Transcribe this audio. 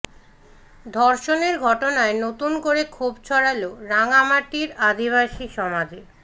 ধর্ষণের ঘটনায় নতুন করে ক্ষোভ ছড়ালো রাঙামাটির আদিবাসী সমাজে